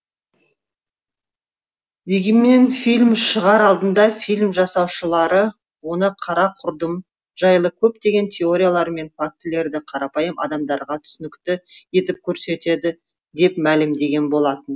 дегенмен фильм шығар алдында фильм жасаушылары оны қара құрдым жайлы көптеген теориялар мен фактілерді қарапайым адамдарға түсінікті етіп көрсетеді деп мәлімдеген болатын